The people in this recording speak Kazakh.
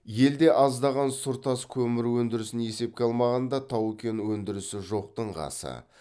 елде аздаған сұр тас көмір өндірісін есепке алмағанда тау кен өндірісі жоқтың қасы